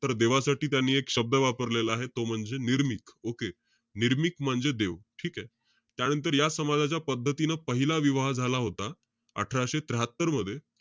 तर देवासाठी त्यांनी एक शब्द वापरलेला आहे. तो म्हणजे निर्मिक. Okay? निर्मिक म्हणजे देव. ठीके? त्यानंतर या समाजाच्या पद्धतीनं पहिला विवाह झाला होता, अठराशे त्र्याहात्तर मध्ये.